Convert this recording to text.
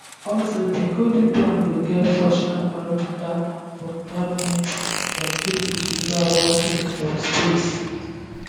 also di golden dome go get fractional orbital bombardment systems wey fit deliver warheads from space